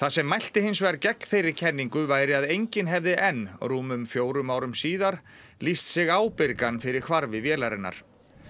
sem mælti hins vegar gegn þeirri kenningu væri að enginn hefði enn rúmum fjórum árum síðar lýst sig ábyrgan fyrir hvarfi vélarinnar